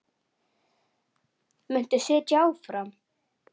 Muntu sitja áfram?